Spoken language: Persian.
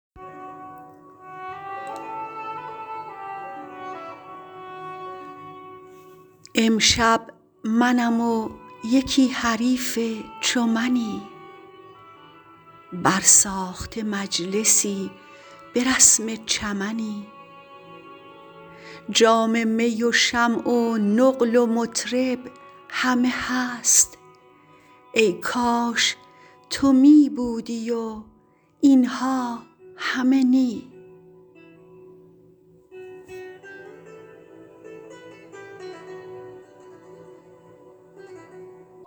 امشب منم و یکی حریف چو منی بر ساخته مجلسی برسم چمنی جام می و شمع و نقل و مطرب همه هست ای کاش تو می بودی و اینها همه نی